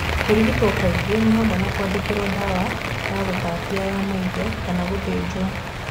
Kũrigito kaingĩ ni hamwe na kwandĩkĩro ndawa ya gũtatia ya maitho na/kana gũthĩjo.